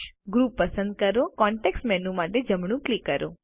group પસંદ કરો અને કોન્ટેક્ષ મેનૂ માટે જમણું ક્લિક કરો